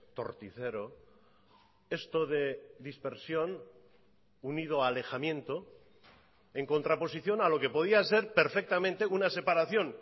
torticero esto de dispersión unido a alejamiento en contraposición a lo que podía ser perfectamente una separación